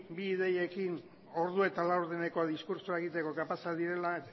bi ideiekin ordu eta laurdeneko diskurtsoa egiteko kapazak direla